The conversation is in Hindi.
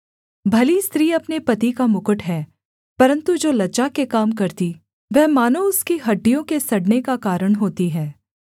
भली स्त्री अपने पति का मुकुट है परन्तु जो लज्जा के काम करती वह मानो उसकी हड्डियों के सड़ने का कारण होती है